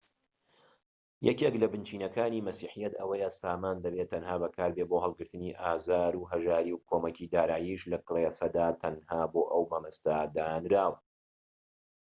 یەکێك لە بنچینەکانی مەسیحیەت ئەوەیە سامان دەبێت تەنها بەکاربێت بۆ هەڵگرتنی ئازار و هەژاری و کۆمەکی داراییش لە کلێسەدا تەنها بۆ ئەو مەبەستە دانراوە